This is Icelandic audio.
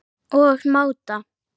og mátar.